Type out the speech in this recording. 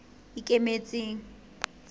ikemetseng